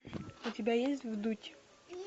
у тебя есть вдуть